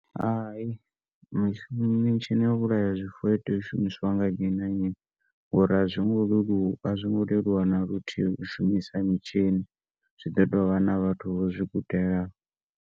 Hai mitshini yau vhulaya zwifuwo a itei u shumiswa nga nnyi na nnyi ngauri a zwingo leluwa na luthihi u shumisa mitshini zwi ḓi tou vha na vhathu vho zwi gudelaho.